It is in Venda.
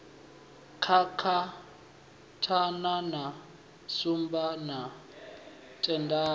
kakatana na shumba na tendai